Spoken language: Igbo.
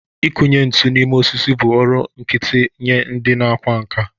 Ịkụnye ntu n'ime osisi bụ ọrụ nkịtị nye ndị ọkwá nkà.